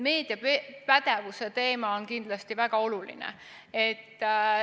Meediapädevuse teema on kindlasti väga oluline.